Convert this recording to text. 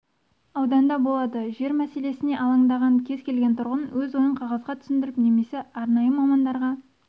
ауданда болады жер мәселесіне алаңдаған кез келген тұрғын өз ойын қағазға түсіріп немесе арнайы мамандарға